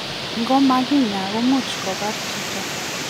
Ngo ma kinya komuch kobar chito.